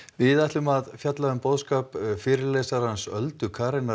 við ætlum að fjalla um fyrirlesarann Öldu